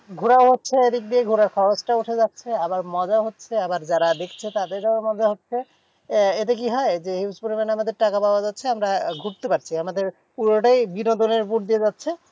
ঘোড়াও হচ্ছে। এদিক দিয়ে ঘোড়ার সাহসটাও উঠে যাচ্ছে। আবার মজাও হচ্ছে। আবার যারা দেখছে তাদেরও মজা হচ্ছে। আহ এতে কি হয়? যে huge পরিমানে আমাদের টাকা পাওয়া যাচ্ছে। আমরা ঘুরতে পারছি। আমাদের পুরোটাই বিনোদনের উপর দিয়ে যাচ্ছে।